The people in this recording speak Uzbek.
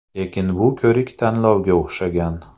Lekin bu ko‘rik-tanlovga o‘xshagan.